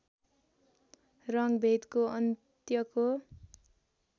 रङ्गभेदको अन्त्यको